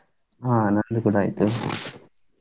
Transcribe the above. ಹಾ ನಂದು ಕೂಡಾ ಆಯ್ತು.